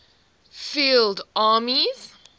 field armies